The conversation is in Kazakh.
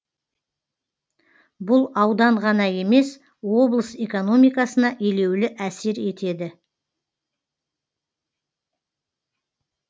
бұл аудан ғана емес облыс экономикасына елеулі әсер етеді